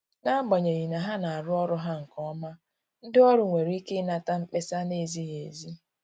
N’agbanyeghị na ha na arụ ọrụ ha nke ọma, ndị ọrụ nwere ike inata mkpesa na-ezighi ezi.